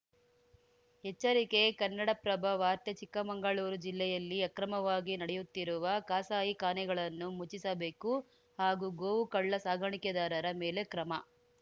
ಎಚ್ಚರಿಕೆ ಕನ್ನಡಪ್ರಭ ವಾರ್ತೆ ಚಿಕ್ಕಮಂಗಳೂರು ಜಿಲ್ಲೆಯಲ್ಲಿ ಅಕ್ರಮವಾಗಿ ನಡೆಯುತ್ತಿರುವ ಕಸಾಯಿಖಾನೆಗಳನ್ನು ಮುಚ್ಚಿಸಬೇಕು ಹಾಗೂ ಗೋವು ಕಳ್ಳ ಸಾಗಾಣಿಕೆದಾರರ ಮೇಲೆ ಕ್ರಮ